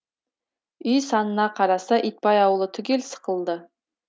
үй санына қараса итбай ауылы түгел сықылды